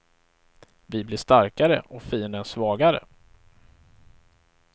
Vi blir starkare och fienden svagare.